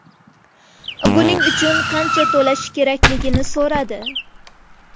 Buning uchun qancha to‘lashi kerakligini so‘radi.